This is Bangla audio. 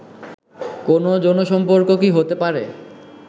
কোনও যৌনসম্পর্ক কি হতে পারে